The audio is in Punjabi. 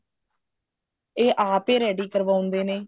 ਇਹ ਆਪ ਹੀ ready ਕਰਵਾਉਂਦੇ ਨੇ